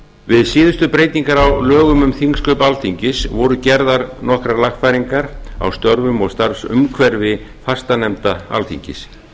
við síðustu breytingar á lögum um þingsköp alþingis voru gerðar nokkrar lagfæringar á störfum og starfsumhverfi fastanefnda alþingis